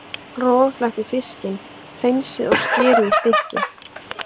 Roðflettið fiskinn, hreinsið og skerið í stykki.